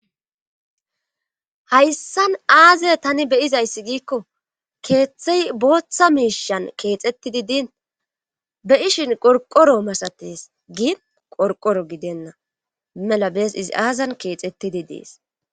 hayssan aaze tani beyizayssi giikko keeththey booththa miishan keexettidi diin be'ishin qorqoro masates gi qorqoro gidenna mela bees izi aazan keexettidi dees